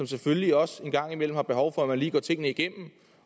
selvfølgelig også en gang imellem er behov for at man lige går tingene igennem